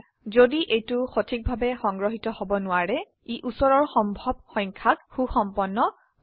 যদি এইটো সঠিকভাবে সংগ্ৰহিত হব নোৱাৰে ই উচৰৰ সম্ভব সংখ্যাক সুসম্পন্ন কৰে